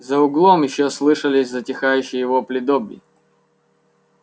за углом ещё слышались затихающие вопли добби